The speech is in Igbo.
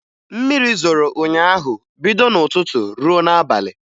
Mmiri zoro ụnyaahụ bido n'ụtụtụ ruo n'abalị